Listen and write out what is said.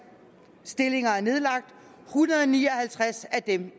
stillinger er nedlagt en hundrede og ni og halvtreds af dem